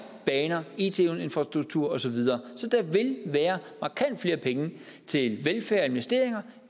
baner it infrastruktur og så videre så der vil være markant flere penge til velfærd og investeringer